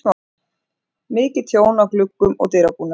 Mikið tjón á gluggum og dyrabúnaði.